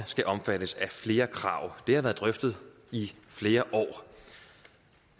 skal omfattes af flere krav det har været drøftet i flere